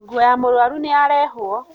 Nguo ya mũrwaru nĩyarehwo.